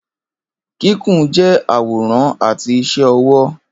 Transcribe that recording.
Kikun jẹ aworan ati iṣẹ ọwọ.